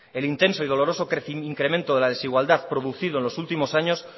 el intenso y doloroso incremento de la desigualdad producido en los últimos años